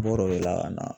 Bɔr'o de la ka na